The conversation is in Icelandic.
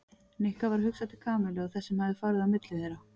Nikka varð hugsað til Kamillu og þess sem hafði farið á milli þeirra.